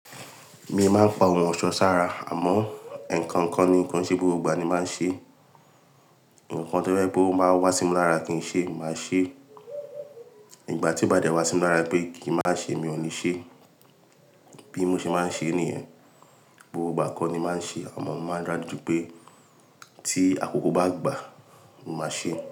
Mi máa ń pa ohun ọ̀ṣọ́ sára, àmọ́ eǹkankan ni kon se gbogbo ìgbà ni máa ń ṣe. Òǹkọ̀ tí o bá wá sí mi lára kí n ṣe, màá ṣe é. Ìgbà tí ó bá dé wá sí mú lára pé kí màá ṣe é, mi ò ní ṣe é. Bí mo ṣe máa ń ṣe nìyẹn, gbogbo ìgbà kọ́ ni màá n ṣe é. Àmọ́ màá rántí pé tí àkókò bá gbà, màá ṣe é.